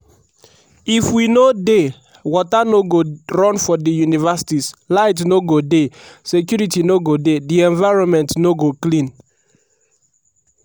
if we no dey water no go run for di universities light no go dey security no go dey di environment no go clean.